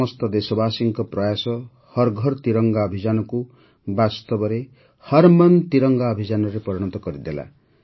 ସମସ୍ତ ଦେଶବାସୀଙ୍କ ପ୍ରୟାସ ହର୍ ଘର୍ ତିରଙ୍ଗା ଅଭିଯାନକୁ ବାସ୍ତବରେ ହର୍ ମନ୍ ତିରଙ୍ଗା ଅଭିଯାନରେ ପରିଣତ କରିଦେଲା